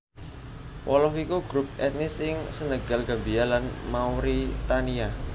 Wolof iku grup ètnis ing Senegal Gambia lan Mauritania